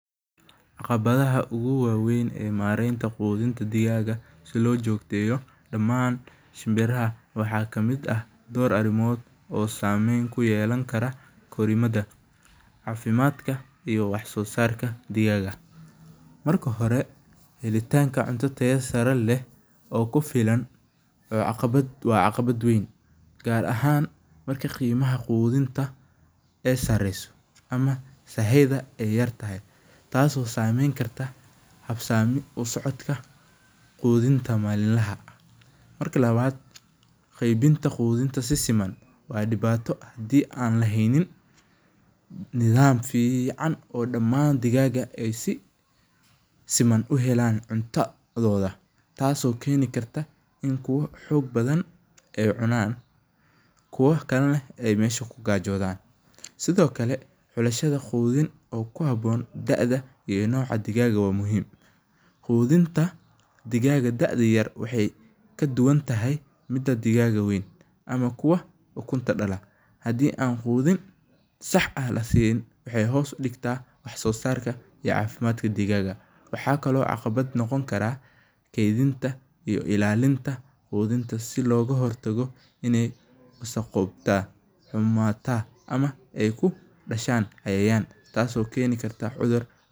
qabadaha ogu waweyn ee marenta qudinta digaga sii loo jogteyo daman shimniraha waxa kamid ah dor arimod oo sameyn kuyelani kara korimada, cafimadka iyo wax sosarka digaga, marki hore hilitanka cunto tayo sare leh oo kufilan waa caqibad weyn gar ahan marki qimaha qudinta aay sareyso amah sahayta aay yartahay, tasi oo sameyni karta habsami usocodka cudinta malinlaha ah, marka labad qeybinta qudinta si siman waa dibato hadi an lahaynin nidam fican oo daman digaga aay sii siman uhelan cuntadoda tasi oo keni karta ini kuwa xog badhan aay cunan kuwa kale nah aay mesha kugajodan, sidiokale xulashada qudin oo kuhabon daa'daa iyo nocaa digaga waa muhim, qudinta digaga dee'daa yar waxay kadubantahay mida digaga weyn kuwa ukunta dalaa hadii an qudin sax ah lasinin waxay hos udigta wax sosarka iyo cafimadka digaga, waxa kale oo caqibad noqoni kara kedinta iyo ilalinta qudinta si loga hortago inay wasaqowda xumata amah aay kudashan cudur tasi oo keni karta cudur.